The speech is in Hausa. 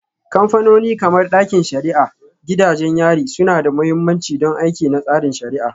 Kamfanoni kamar ɗakin shari'a, gidajen yari suna da mahimmanci don aiki na tsarin shari'a.